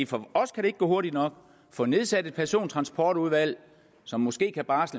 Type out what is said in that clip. for os kan det ikke gå hurtigt nok at få nedsat et persontransportudvalg som måske kan barsle